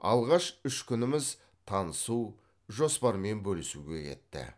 алғаш үш күніміз танысу жоспармен бөлісуге кетті